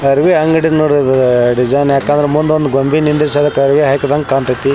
ಹರಿವೆ ಅಂಗಡಿ ನೋಡ್ರಿ ಇದು ಡಿಸೈನ್ ಯಾಕ ಅಂದ್ರ ಮುಂದ್ ಒಂದ್ ಗೊಂಬಿ ನಿಂದ್ರಿಸಿ ಅದಕ್ಕ ಅರಿವೇ ಹಖ್ದಂಗ್ ಕಾಂತೈತಿ.